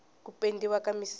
ku pendiwa ka misisi